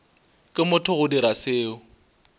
ke motho go dira seo